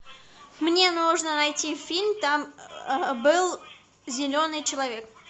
мне нужно найти фильм там был зеленый человек